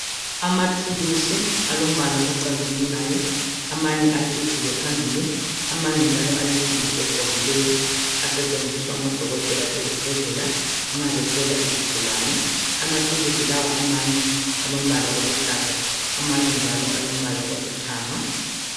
Amathulusi alombala ocazimulayo amanye acijile phambili amanye njalo alensimbi egobileyo asetshenziswa ngodokotela ezibhedlela nxa behlola izigulane amathulusi lawa amanye alombala oluhlaza amanye njalo alombala olithanga